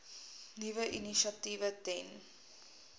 nuwe initiatiewe ten